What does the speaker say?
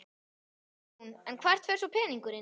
Hugrún: En hvert fer svo peningurinn?